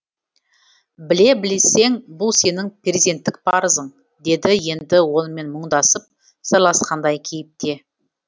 біле білсең бұл сенің перзенттік парызың деді енді онымен мұңдасып сырласқандай кейіпте